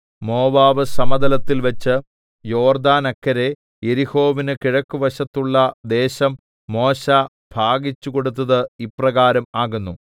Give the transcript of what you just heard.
Moab സമതലത്തിൽ വച്ച് യോർദാനക്കരെ യെരിഹോവിനു കിഴക്കുവശത്തുള്ള ദേശം മോശെ ഭാഗിച്ചുകൊടുത്തത് ഇപ്രകാരം ആകുന്നു